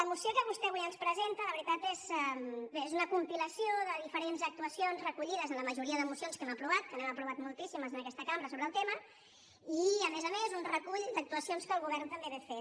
la moció que vostè avui ens presenta la veritat és una compilació de diferents actuacions recollides en la majoria de mocions que hem aprovat que n’hem aprovat moltíssimes en aquesta cambra sobre el tema i a més a més un recull d’actuacions que el govern també va fent